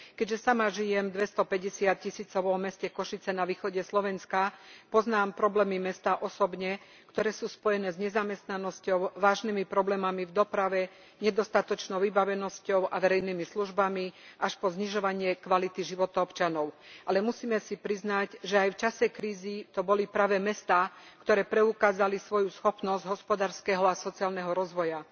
Keďže sama žijem v 250 tisícovom meste Košice na východe Slovenska, poznám problémy mesta osobne, ktoré sú spojené s nezamestnanosťou, vážnymi problémami v doprave, nedostatočnou vybavenosťou a verejnými službami až po znižovanie kvality života občanov. Ale musíme si priznať, že aj v čase krízy to boli práve mestá, ktoré preukázali svoju schopnosť hospodárskeho a sociálneho rozvoja.